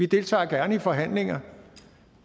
deltager i forhandlinger